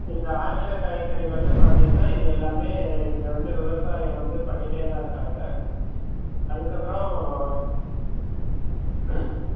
இந்த ஆங்கில காய்கறிகள்னு பாத்திங்கன்ன இது எல்லாமே இங்க வந்து விவசாயி வந்து பண்ணிட்டேதா இருக்காங்க அதுக்கப்புறம்